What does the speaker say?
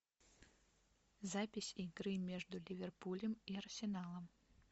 запись игры между ливерпулем и арсеналом